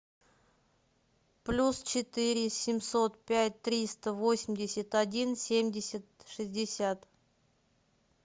плюс четыре семьсот пять триста восемьдесят один семьдесят шестьдесят